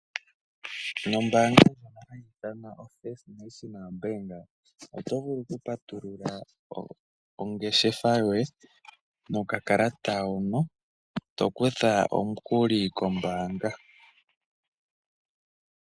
Nombaanga ndjono hayi ithanwa oFirst National Bank, oto vulu okupatulula ongeshefa yoye nokakalata hono, to kutha omukuli kombaanga.